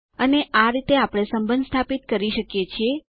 અને આ રીતે આપણે સંબંધ સ્થાપિત કરી શકીએ છીએ